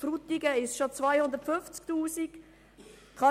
Bei Frutigen sind es schon 250 000 Franken.